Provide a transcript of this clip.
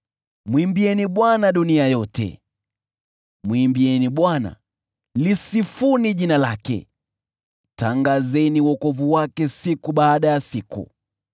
Mwimbieni Bwana , lisifuni jina lake; tangazeni wokovu wake siku baada ya siku.